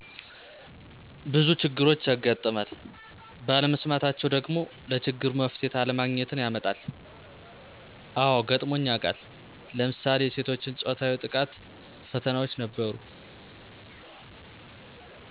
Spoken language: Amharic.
ቡዙ ችግሮች ያጋጥማል ባለመስማታቸወ ደግሞ ለችግሩ መፍትሄ አለማግኜትን ያመጣል አዎገጥሞኝ ያቃል ለምሳሌ የሴቶችን ፆታዊ ጥቃትፈተናዎች ነበሩ።